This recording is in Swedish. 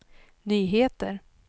nyheter